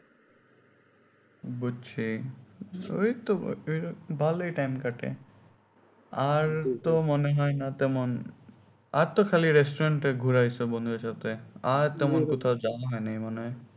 বুঝছি ঐতো ভালোই time কাটে আর তো মনে হয় না তেমন আর তো খালি restaurant এ ঘোরা হয়েছে বন্ধুদের সাথে আর তেমন কোথাও যাওয়া হয় নাই মনে হয়